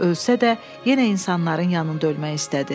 Ölsə də, yenə insanların yanında ölmək istədi.